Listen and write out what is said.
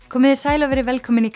komiði sæl og verið velkomin í